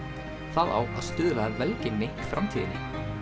það á að stuðla að velgengni í framtíðinni